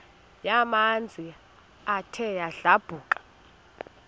yamanzi ethe yadlabhuka